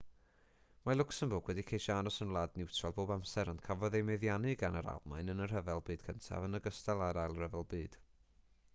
mae lwcsembwrg wedi ceisio aros yn wlad niwtral bob amser ond cafodd ei meddiannu gan yr almaen yn y rhyfel byd cyntaf yn ogystal â'r ail ryfel byd